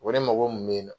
O de mago mun bɛ yen nɔ